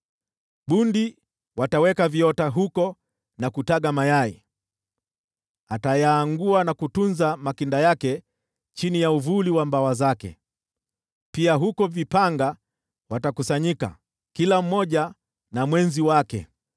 Bundi wataweka viota huko na kutaga mayai, atayaangua na kutunza makinda yake chini ya uvuli wa mabawa yake; pia huko vipanga watakusanyika, kila mmoja na mwenzi wake.